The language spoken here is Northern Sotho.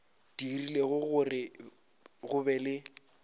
dirile gore go be le